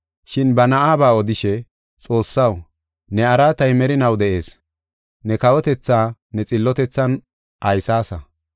Shin ba Na7aba odishe, “Xoossaw, ne araatay merinaw de7ees. Ne kawotethaa ne xillotethan aysaasa.